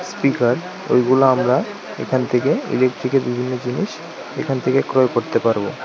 Speaker ঐগুলো আমরা এখান থেকে ইলেকট্রিকের বিভিন্ন জিনিস এখান থেকে ক্রয় করতে পারবো।